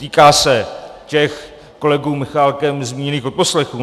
Týká se těch kolegou Michálkem zmíněných odposlechů.